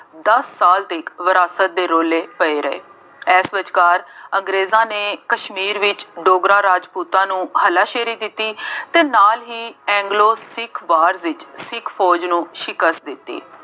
ਦੱਸ ਸਾਲ ਤੱਕ ਵਿਰਾਸਤ ਦੇ ਰੌਲੇ ਪਏ ਰਹੇ। ਇਸ ਵਿਚਕਾਰ ਅੰਗਰੇਜ਼ਾਂ ਨੇ ਕਸ਼ਮੀਰ ਵਿੱਚ ਡੋਗਰਾ ਰਾਜਪੂਤਾਂ ਨੂੰ ਹੱਲਾਸ਼ੇਰੀ ਦਿੱਤੀ ਅਤੇ ਨਾਲ ਹੀ ਐਂਗਲੋ ਸਿੱਖ ਵਾਰ ਵਿੱਚ ਸਿੱਖ ਫੌਜ ਨੂੰ ਸਿਕੱਸ਼ਤ ਦਿੱਤੀ।